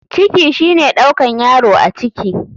Ciki shine ɗaukan yaro a ciki.